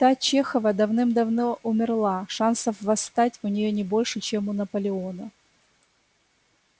та чехова давным-давно умерла шансов восстать у неё не больше чем у наполеона